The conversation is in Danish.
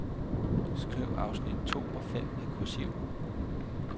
Skriv afsnit to og fem med kursiv.